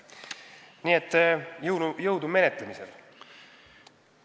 Nii et jõudu menetlemisel!